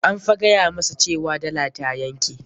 An fa gaya masa cewa dala ta yanke.